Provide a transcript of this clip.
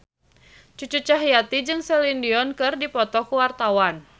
Cucu Cahyati jeung Celine Dion keur dipoto ku wartawan